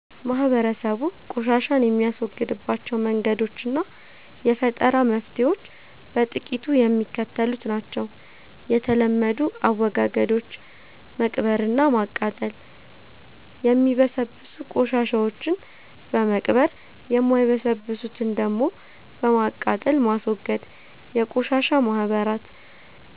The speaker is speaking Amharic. ማህበረሰቡ ቆሻሻን የሚያስወግድባቸው መንገዶችና የፈጠራ መፍትሔዎች በጥቂቱ የሚከተሉት ናቸው፦ የተለመዱ አወጋገዶች፦ መቅበርና ማቃጠል፦ የሚበሰብሱ ቆሻሻዎችን በመቅበር፣ የማይበሰብሱትን ደግሞ በማቃጠል ማስወገድ። የቆሻሻ ማህበራት፦